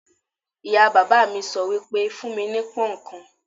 Ìyá bàbá mi sọ wípé: fún mi ní pón ǹkan."